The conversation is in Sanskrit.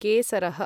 केसरः